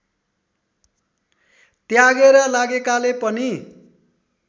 त्यागेर लागेकाले पनि